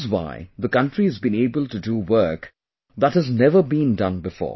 This is why the country has been able to do work that has never been done before